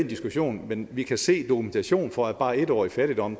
diskussion men vi kan se dokumentation for at bare en år i fattigdom